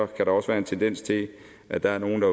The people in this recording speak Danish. der også være en tendens til at der er nogle